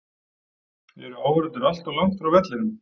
Eru áhorfendur allt of langt frá vellinum?